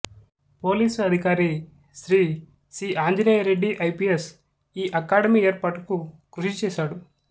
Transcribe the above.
police అధికారి Shri C Anjaneya Reddy IPS ఈ academy ఏర్పాటుకు కృషిచేశాడు